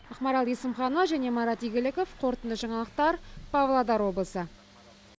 ақмарал есімханова және марат игіліков қорытынды жаңалықтар павлодар облысы